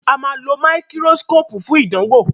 Ama ló Máíkírósíkópù fún ìdánwò.